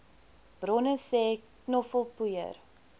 bronne sê knoffelpoeier